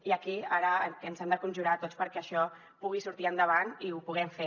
i aquí ara ens hem de conjurar tots perquè això pugui sortir endavant i ho puguem fer